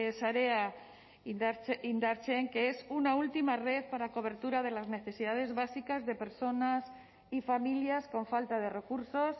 sarea indartzen que es una última red para cobertura de las necesidades básicas de personas y familias con falta de recursos